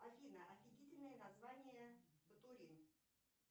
афина офигительное название ботулин